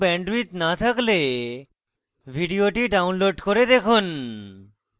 ভাল bandwidth না থাকলে ভিডিওটি download করে দেখুন